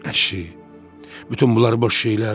Nə isə, bütün bunlar boş şeylərdir.